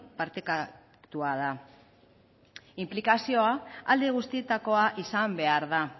partekatua da inplikazioa alde guztietakoa izan behar da